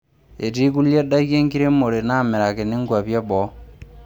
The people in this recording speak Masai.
Etii kulie daiki enkiremore naamirakini nkwapi e boo.